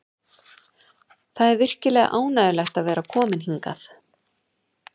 Það er virkilega ánægjulegt að vera kominn hingað.